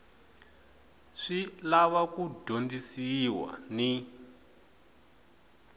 swi lava ku dyondzisiwa ni